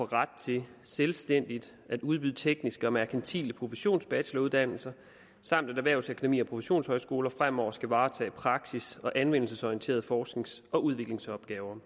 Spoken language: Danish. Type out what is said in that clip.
ret til selvstændigt at udbyde tekniske og merkantile professionsbacheloruddannelser samt at erhvervsakademier og professionshøjskoler fremover skal varetage praksis og anvendelsesorienterede forsknings og udviklingsopgaver